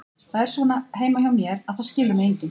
Það er svona heima hjá mér, að það skilur mig enginn.